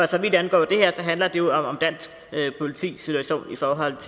så vidt angår det her handler det om dansk politis situation i forhold